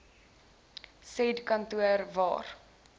said kantoor waar